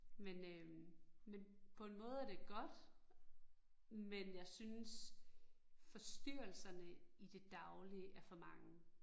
Men øh men på en måde er det godt, men jeg synes forstyrrelserne i det daglige er for mange